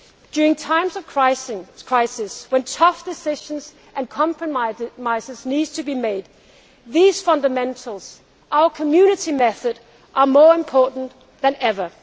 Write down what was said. During times of crisis, when tough decisions and compromises need to made, these fundamentals our Community method are more important than